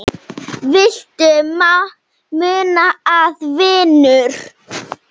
Viltu muna það, vinur?